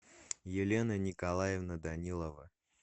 елена николаевна данилова